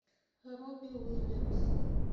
робби уильямс